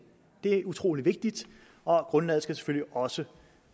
det er utrolig vigtigt og grundlaget skal selvfølgelig også